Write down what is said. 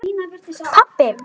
Ég pabbi!